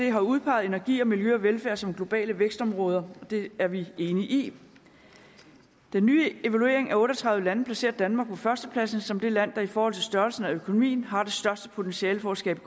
har udpeget energi og miljø og velfærd som globale vækstområder det er vi enige i den nye evaluering af otte og tredive lande placerer danmark på førstepladsen som det land der i forhold til størrelsen af økonomien har det største potentiale for at skabe